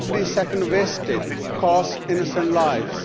Every second wasted costs innocent lives.